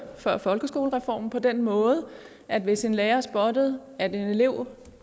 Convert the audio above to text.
før folkeskolereformen på den måde at hvis en lærer spottede at en elev